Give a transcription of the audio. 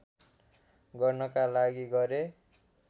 गर्नका लागि गरे